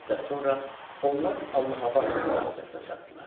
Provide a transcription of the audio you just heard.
Bir müddət sonra onlar Allahabəd stansiyasına çatdılar.